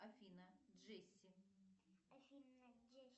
афина джесси